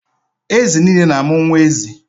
Ezi nile na-amụ nwa ezi.